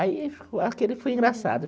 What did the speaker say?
Aí ficou aquilo foi engraçado.